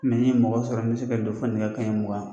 ni n ye mɔgɔ sɔrɔ n be se ka don fo nɛgɛ kanɲɛ mugan .